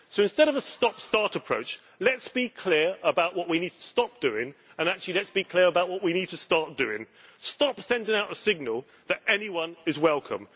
Instead of a stop start approach, let us be clear about what we need to stop doing and let us be clear about what we need to start doing. Stop sending out a signal that anyone is welcome.